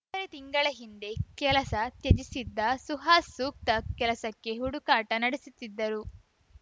ತಿಂಗಳ ಹಿಂದೆ ಕೆಲಸ ತ್ಯಜಿಸಿದ್ದ ಸುಹಾಸ್‌ ಸೂಕ್ತ ಕೆಲಸಕ್ಕೆ ಹುಡುಕಾಟ ನಡೆಸುತ್ತಿದ್ದರು